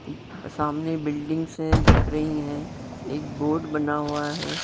सामने बिल्डिंग्स से दिख रही हैं एक बोर्ड बना हुआ है।